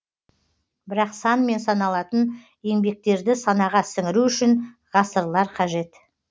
бірақ санмен саналатын еңбектерді санаға сіңіру үшін ғасырлар қажет